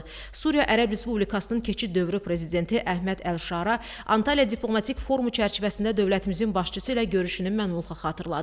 Suriya Ərəb Respublikasının keçid dövrü prezidenti Əhməd Əlşara Antalya Diplomatik Forumu çərçivəsində dövlətimizin başçısı ilə görüşünü məmnunluqla xatırladı.